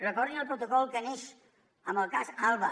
recordin el protocol que neix amb el cas alba